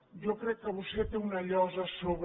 jo crec que vostè té una llosa a sobre